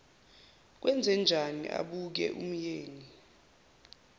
sekwenzenjani abuke umyeni